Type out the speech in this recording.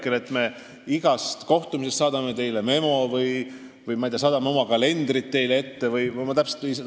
Kas me saadame teile iga kohtumise kohta memo või me saadame teile oma kalendrid?